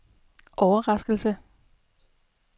overraskelse